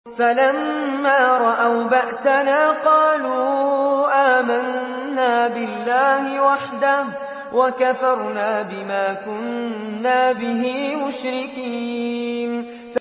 فَلَمَّا رَأَوْا بَأْسَنَا قَالُوا آمَنَّا بِاللَّهِ وَحْدَهُ وَكَفَرْنَا بِمَا كُنَّا بِهِ مُشْرِكِينَ